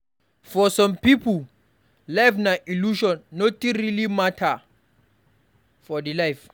For some pipo, life na illusion nothing really matter for di life